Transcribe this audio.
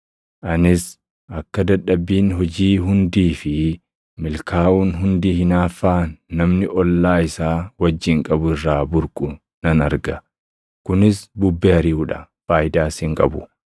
Anis akka dadhabbiin hojii hundii fi milkaaʼuun hundi hinaaffaa namni ollaa isaa wajjin qabu irraa burqu nan arga. Kunis bubbee ariʼuu dha; faayidaas hin qabu.